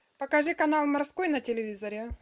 покажи канал морской на телевизоре